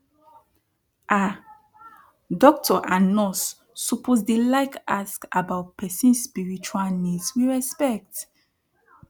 ah doctor and nurse suppose dey like ask about person spiritual needs with respect